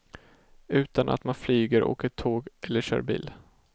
Utan att man flyger, åker tåg eller kör bil.